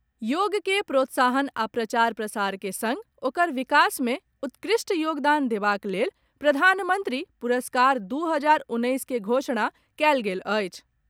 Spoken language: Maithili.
योग के प्रोत्साहन आ प्रचार प्रसार के सङ्ग ओकर विकास मे उत्कृष्ट योगदान देबाक लेल प्रधानमन्त्री पुरस्कार दू हजार उन्नैस के घोषणा कयल गेल अछि।